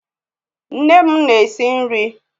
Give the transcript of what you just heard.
Nne m na-esi nri